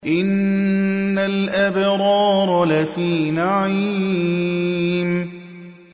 إِنَّ الْأَبْرَارَ لَفِي نَعِيمٍ